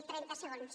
trenta segons